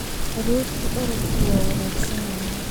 Aroortii orodku waa wanaagsan yahay